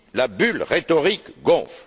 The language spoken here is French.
La bulle rhétorique gonfle.